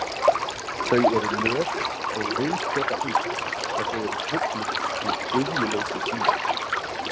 Þau eru löt og viðskotaill ef þau eru trufluð í iðjuleysi sínu.